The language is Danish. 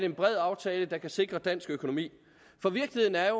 en bred aftale der kan sikre dansk økonomi for virkeligheden er